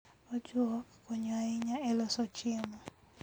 Ojuok konyo ahinya e loso chiemo.